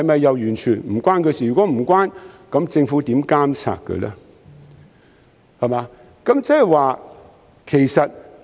如果無關，政府如何監察港鐵公司呢？